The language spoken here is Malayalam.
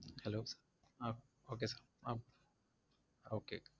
Hello ah okay sir ah okay